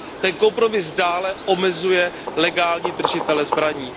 Ten kompromis dále omezuje legální držitele zbraní.